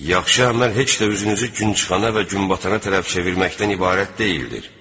Yaxşı əməl heç də üzünüzü günçıxana və günbatana tərəf çevirməkdən ibarət deyildir.